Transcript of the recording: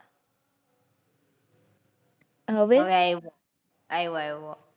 હવે? હવે આવ્યો. આવ્યો આવ્યો.